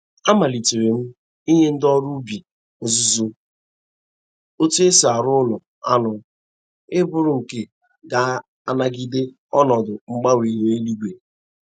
Amalitere m inye ndị ọrụ ubi ọzụzụ otu e si arụ ụlọ anụ ịbụrụ nke ga- anagide ọnọdụ mgbanwe ihu eluigwe.